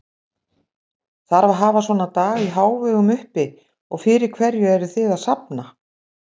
Þarf að hafa svona dag í hávegum uppi og fyrir hverju eruð þið að safna?